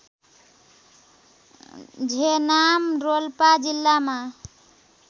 झेनाम रोल्पा जिल्लामा